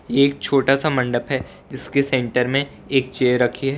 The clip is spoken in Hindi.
एक छोटा सा मंडप है जिसके सेंटर में एक चेयर रखी है।